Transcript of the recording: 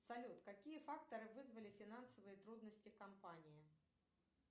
салют какие факторы вызвали финансовые трудности компании